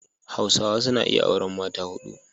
Hausawa suna iya auran mata hudu.